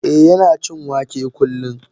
Eh Yana cin wake kullum.